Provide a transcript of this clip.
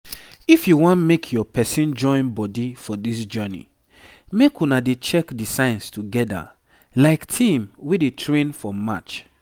if you wan make your person join body for this journey make una dey check the signs together like team wey dey train for match.